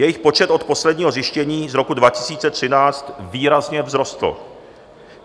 Jejich počet od posledního zjištění z roku 2013 výrazně vzrostl.